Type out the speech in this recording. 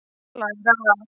Og læra af.